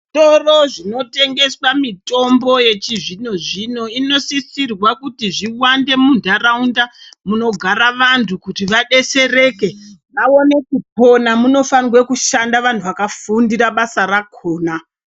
Zvitoro zvinotengeswa mitombo yechizvino zvino inosisirwa kuti zviwande muntaraunda munogara vantu kuti vadetsereke vaone kupona . Munofarwa kushanda vantu vakafundira basa rakona.